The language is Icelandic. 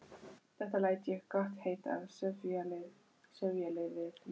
Þetta læt ég gott heita af sifjaliði mínu.